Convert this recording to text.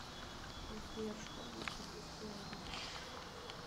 сбер что они с тобой сделали